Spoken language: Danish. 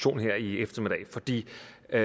så er det